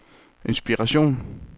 inspiration